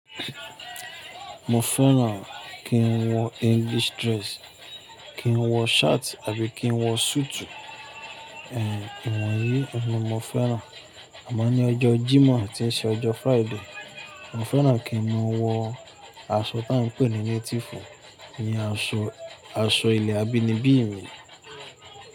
Mo fẹ́ràn kí n wọ English dress, kí n wọ shirt àbí kí n wọ suutu. Ìwọ̀nyí ni mo fẹ́ràn. Àmọ ní ọjọ́ Jímọ̀ tí ń ṣe ọjọ́ Friday, mo fẹ́ràn kín mọ wọ aṣọ tá ń pè ní native, iyẹn aṣọ, aṣọ ilẹ̀ abínibí mi.